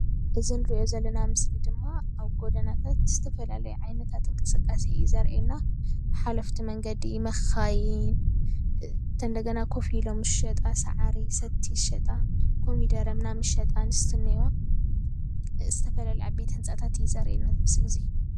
እዚ ንሪአ ዘለና ምስሊ ድማ አብ ገኒ ጎደናታት ዝተፈላለዩ ዓይነታት እንቅስቃሴ እዩ ዘርእየና። ሓለፍቲ መንገዲ መኻይን እንደገና ኮፍ እሎም ዝሸጣ ሰቲ፣ ሳዕሪ፣ ኮሚደረ ምናምን ዝሸጣ አንስቲ እኒአዋ፣ ዝተፈላለዩ ዓበይቲ ህንፃታት እዩ ዘርእየና እዚ ምስሊ እዚ ።